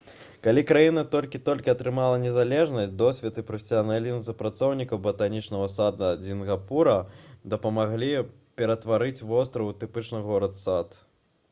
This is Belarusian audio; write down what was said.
калі краіна толькі-толькі атрымала незалежнасць досвед і прафесіяналізм супрацоўнікаў батанічнага сада сінгапура дапамаглі ператварыць востраў у трапічны горад-сад